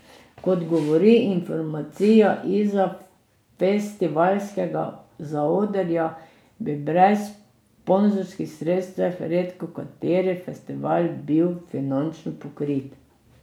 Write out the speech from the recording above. Kot govori informacija izza festivalskega zaodrja, bi brez sponzorskih sredstev redkokateri festival bil finančno pokrit.